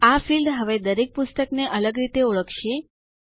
આ ફિલ્ડ હવે દરેક પુસ્તક ને અલગ રીતે ઓળખશે